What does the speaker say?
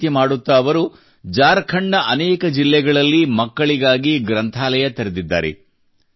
ಈ ರೀತಿ ಮಾಡುತ್ತಾ ಅವರು ಝಾರ್ಖಂಡ್ ನ ಅನೇಕ ಜಿಲ್ಲೆಗಳಲ್ಲಿ ಮಕ್ಕಳಿಗಾಗಿ ಗ್ರಂಥಾಲಯ ತೆರೆದಿದ್ದಾರೆ